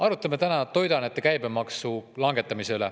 Arutame täna toiduainete käibemaksu langetamist.